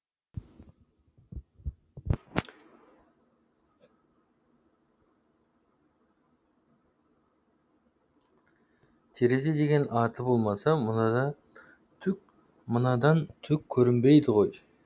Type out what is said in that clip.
терезе деген аты болмаса мынадан түк көрінбейді ғой